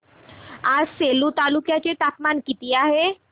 आज सेलू तालुक्या चे तापमान किती आहे